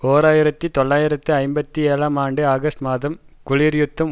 ஓர் ஆயிரத்தி தொள்ளாயிரத்து ஐம்பத்தி ஏழாம் ஆண்டு ஆகஸ்ட் மாதம் குளிர் யுத்தம்